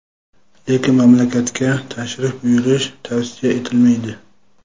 lekin mamlakatga tashrif buyurish tavsiya etilmaydi.